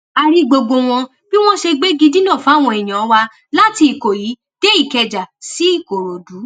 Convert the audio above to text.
a rí gbogbo bí wọn ṣe gbégi dínà fáwọn èèyàn wa láti ìkọyí dé ìkẹjà sí ìkòròdú